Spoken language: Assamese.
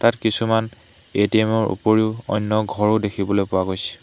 ইয়াত কিছুমান এ_টি_এম ৰ ওপৰিও অন্য ঘৰো দেখিবলৈ পোৱা গৈছে।